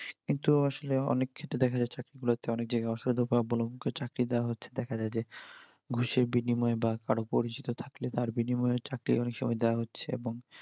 কিন্তু আসলে অনেকক্ষেত্রে দেখা যাচ্ছে, চাকরি প্রার্থীরা অনেক জায়গাই অসৎ উপাই অবলম্বন করে চাকরি দেওয়া হচ্ছে দেখা যাই যে ঘুষের বিনিময়ে বা কারোর পরিচিত থাকলে তার বিনিময়ে চাকরি অনেক সময়ই দেওয়া হচ্ছে।